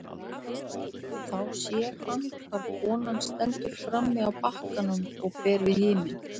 Þá sér hann hvar konan stendur frammi á bakkanum og ber við himin.